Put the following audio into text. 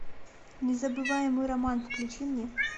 незабываемый роман включи мне